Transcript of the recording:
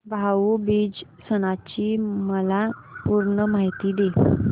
भाऊ बीज सणाची मला पूर्ण माहिती दे